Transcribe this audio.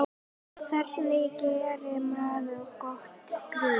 Hvernig gerir maður gott grín?